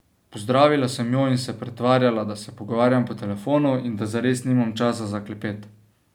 Pozdravila sem jo in se pretvarjala, da se pogovarjam po telefonu in da zares nimam časa za klepet.